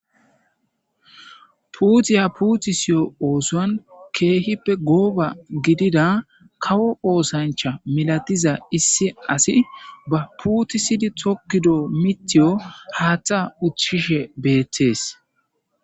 puutiya puutissiyo oosan keehippe gooba gidida kawo oosancha milatiza issi asi ba puutisidi tokkido mitiyo haaththa uthfishe beeththees.